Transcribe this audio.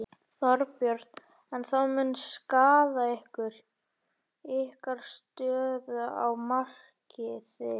Þorbjörn: En það mun skaða ykkur, ykkar stöðu á markaði?